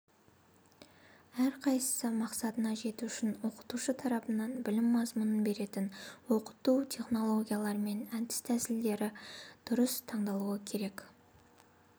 әрқайсысы мақсатына жету үшін оқытушы тарапынан білім мазмұнын беретін оқыту технологиялары мен әдіс-тәсілдер дұрыс таңдалуы керек